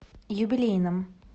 юбилейном